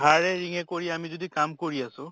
ধাৰে ৰিংয়ে কৰি আমি যদি কাম কৰি আছো